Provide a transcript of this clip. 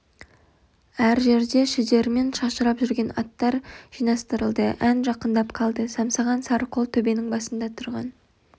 әр жерде шідерімен шашырап жүрген аттар жинастырылды ән жақындап қалды самсаған сары қол төбенің басында тұрған